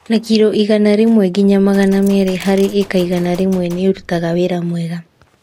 Na kiro igana rĩmwe nginya magana merĩ harĩ ĩka igana rĩmwe Nĩ ũrutaga wĩra wega.